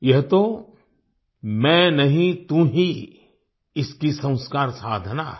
यह तो मैं नहीं तू ही इसकी संस्कार साधना है